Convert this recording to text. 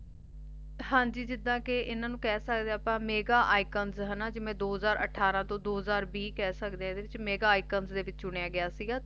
ਹਾਂਜੀ ਜਿੱਦਾ ਕਿ ਇਹਨਾਂ ਨੂੰ ਕਹਿ ਸਕਦੇ ਆ ਅਪਾ ਮੈਗਾ ਇਕਨ ਹੈਨਾ ਜਿਵੇਂ ਦੋ ਹਜਾਰ ਅਠਾਰਾਂ ਤੋ ਦੋ ਹਜਾਰ ਵੀਹ ਕਹਿ ਸਕਦੇ ਆ ਜਿਵੇਂ ਮੈਗਾ ਇਕਣ ਵਿੱਚ ਚੁਣਿਆ ਗਿਆ ਸੀਗਾ